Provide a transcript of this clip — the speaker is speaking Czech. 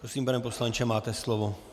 Prosím, pane poslanče, máte slovo.